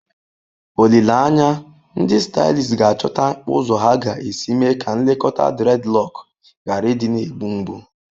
Olileanya, ndị stylists ga-achọta ụzọ ha ga-esi mee ka nlekọta dreadlock ghara ịdị na-egbu mgbu.